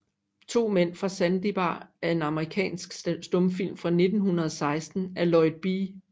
To Mænd fra Sandy Bar er en amerikansk stumfilm fra 1916 af Lloyd B